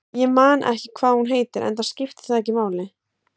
Ég man ekki hvað hún heitir, enda skiptir það ekki máli.